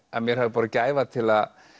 að mér hafi borið gæfa til